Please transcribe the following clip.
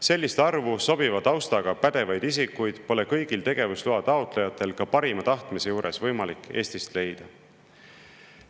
Sellist arvu sobiva taustaga pädevaid isikuid pole kõigil tegevusloa taotlejatel ka parima tahtmise juures võimalik Eestist leida.